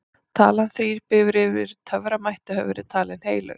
talan þrír býr yfir töframætti og hefur verið talin heilög